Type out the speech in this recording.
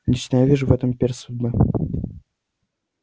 лично я вижу в этом перст судьбы